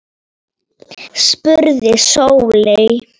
spurði Sóley.